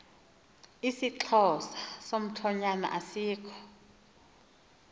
isixhosa somthonyama asikho